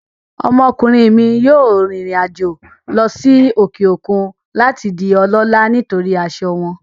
Ọmọkùnrin mi yóò rìnrìn àjò lọ sí òkè òkun láti di ọlọ́ọ̀lá nítorí asọ wọn